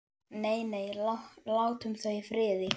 Nei, nei, látum þau í friði.